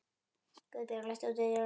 Guðbjörg, læstu útidyrunum.